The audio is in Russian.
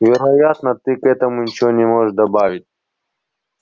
вероятно ты к этому ничего не можешь добавить